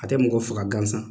A tɛ mɔgɔ faga gansan